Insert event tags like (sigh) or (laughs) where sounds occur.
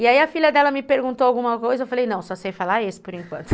E aí a filha dela me perguntou alguma coisa, eu falei, não, só sei falar esse por enquanto. (laughs)